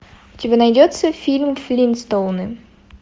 у тебя найдется фильм флинстоуны